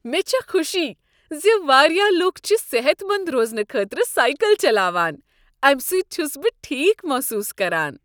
مےٚ چھےٚ خوشی ز واریاہ لکھ چھ صحت مند روزنہٕ خٲطرٕ سایکل چلاوان۔ امہ سۭتۍ چھس بہٕ ٹھیک محسوس کران۔